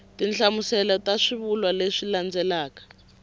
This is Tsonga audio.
tinhlamuselo ta swivulwa leswi landzelaka